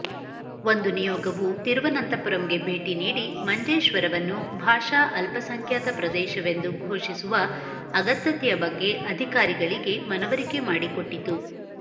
ಒಂದು ನಿಯೋಗವು ತಿರುವನಂತಪುರಂಗೆ ಭೇಟಿ ನೀಡಿ ಮಂಜೇಶ್ವರವನ್ನು ಭಾಷಾ ಅಲ್ಪಸಂಖ್ಯಾತ ಪ್ರದೇಶವೆಂದು ಘೋಷಿಸುವ ಅಗತ್ಯತೆಯ ಬಗ್ಗೆ ಅಧಿಕಾರಿಗಳಿಗೆ ಮನವರಿಕೆ ಮಾಡಿಕೊಟ್ಟಿತು